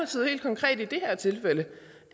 så helt konkret i det her tilfælde